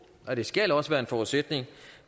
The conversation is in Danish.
og det skal også være en forudsætning